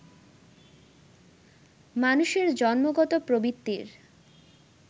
মানুষের জন্মগত প্রবৃত্তির